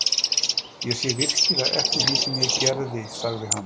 Ég sé virkilega eftir því sem ég gerði, sagði hann.